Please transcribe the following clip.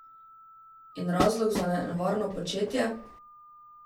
In razlog za nevarno početje?